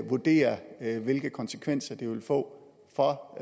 vurdere hvilke konsekvenser det vil få for